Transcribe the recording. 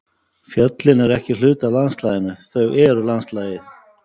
Fjöllin eru ekki hluti af landslaginu, þau eru landslagið.